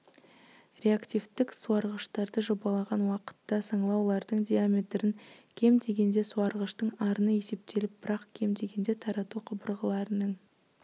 реактивтік суарғыштарды жобалаған уақытта саңылаулардың диаметрін кем дегенде суарғыштың арыны есептеліп бірақ кем дегенде тарату құбырларының